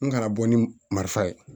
N kana bɔ ni marifa ye